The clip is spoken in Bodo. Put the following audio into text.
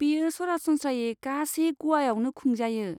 बेयो सरासनस्रायै गासै ग'वाआवनो खुंजायो।